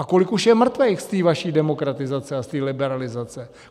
A kolik už je mrtvých z té vaší demokratizace a z té liberalizace?